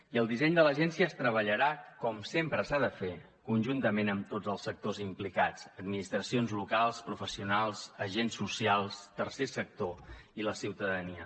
i el disseny de l’agència es treballarà com sempre s’ha de fer conjuntament amb tots els sectors implicats administracions locals professionals agents socials tercer sector i la ciutadania